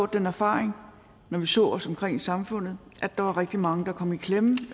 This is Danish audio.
den erfaring når vi så os omkring i samfundet at der var rigtig mange der kom i klemme